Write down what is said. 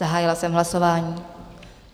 Zahájila jsem hlasování.